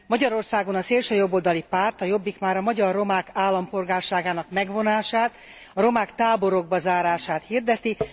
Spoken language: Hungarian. Magyarországon a szélsőjobboldali párt, a Jobbik, már a magyar romák állampolgárságának megvonását, a romák táborokba zárását hirdeti.